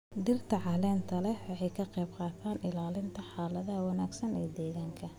Dhirta caleenta leh waxay ka qayb qaataan ilaalinta xaalad wanaagsan ee deegaanka.